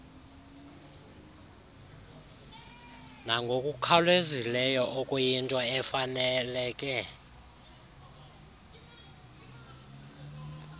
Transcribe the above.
nangokukhawulezileyo okuyinto efaneleke